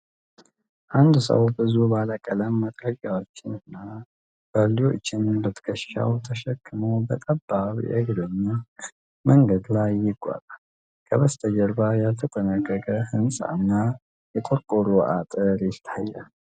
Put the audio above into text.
አንድ ሰው ብዙ ባለ ቀለም መጥረጊያዎችንና ባልዲዎችን በትከሻው ተሸክሞ በጠባብ የእግረኛ መንገድ ላይ ይጓዛል። ከበስተጀርባ ያልተጠናቀቀ ህንጻና የቆርቆሮ አጥር ይታያል።